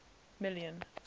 million